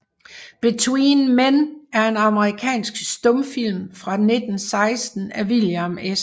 Between Men er en amerikansk stumfilm fra 1916 af William S